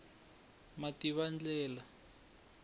mativandlela